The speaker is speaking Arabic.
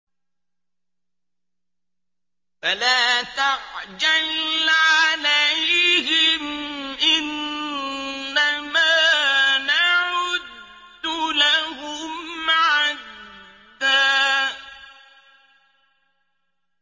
فَلَا تَعْجَلْ عَلَيْهِمْ ۖ إِنَّمَا نَعُدُّ لَهُمْ عَدًّا